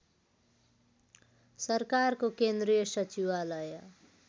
सरकारको केन्द्रीय सचिवालय